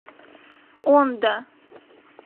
ондо